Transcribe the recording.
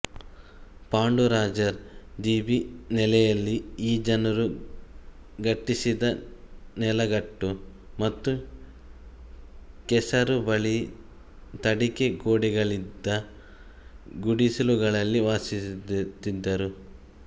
ಪಾಂಡುರಾಜರ್ ಧೀಬಿ ನೆಲೆಯಲ್ಲಿ ಈ ಜನರು ಗಟ್ಟಿಸಿದ ನೆಲಗಟ್ಟು ಮತ್ತು ಕೆಸರು ಬಳಿದ ತಡಿಕೆ ಗೋಡೆಗಳಿದ್ದ ಗುಡಿಸಿಲುಗಳಲ್ಲಿ ವಾಸಿಸುತ್ತಿದ್ದರು